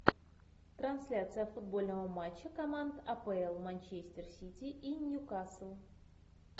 трансляция футбольного матча команд апл манчестер сити и ньюкасл